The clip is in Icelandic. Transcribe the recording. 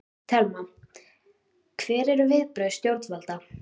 Telma: Hver eru viðbrögð stjórnvalda?